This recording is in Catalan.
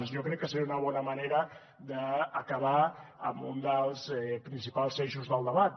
jo crec que seria una bona manera d’acabar amb un dels principals eixos del debat